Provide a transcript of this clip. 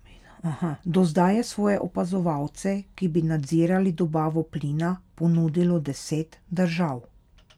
Do zdaj je svoje opazovalce, ki bi nadzirali dobavo plina, ponudilo deset držav.